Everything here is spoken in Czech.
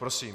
Prosím.